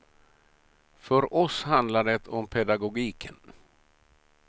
För oss handlar det om pedagogiken.